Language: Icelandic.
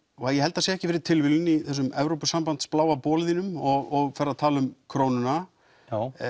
ég held það sé ekki fyrir tilviljun í þessum Evrópusambands bláa bol þínum og ferð að tala um krónuna já